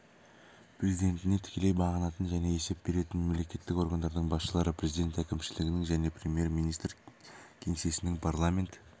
президентіне тікелей бағынатын және есеп беретін мемлекеттік органдардың басшылары президент әкімшілігінің және премьер-министр кеңсесінің парламент